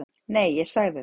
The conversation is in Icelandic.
Nei, ég sagði það.